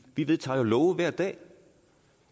vi vedtager jo love hver dag